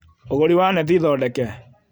Ũgũri wa neti thondeke